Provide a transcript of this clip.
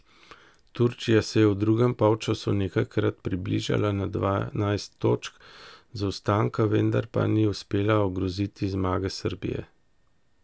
Turčija se je v drugem polčasu nekajkrat približala na dvanajst točk zaostanka, vendar pa ni uspela ogroziti zmage Srbije.